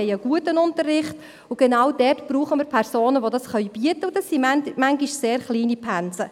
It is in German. Wir wollen einen guten Unterricht, und genau dort brauchen wir Personen, die dies bieten können, und das sind manchmal sehr kleine Pensen.